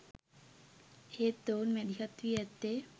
එහෙත් ඔවුන් මැදිහත් වී ඇත්තේ